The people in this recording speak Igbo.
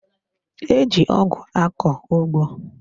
Eji ọgụ akọ ụgbọ